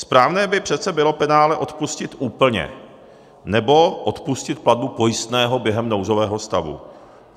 Správné by přece bylo penále odpustit úplně, nebo odpustit platbu pojistného během nouzového stavu.